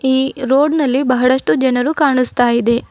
ಈ ರೋಡ್ ನಲ್ಲಿ ಬಹಳಷ್ಟು ಜನರು ಕಾಣಿಸ್ತಾ ಇದೆ.